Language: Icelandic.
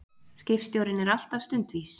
Skipstjórinn er alltaf stundvís.